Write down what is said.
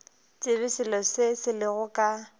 tsebe seo se lego ka